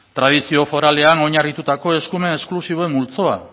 tradizio foralean oinarritutako eskumen esklusiboen multzoa